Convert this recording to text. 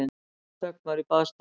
Dauðaþögn var í baðstofunni.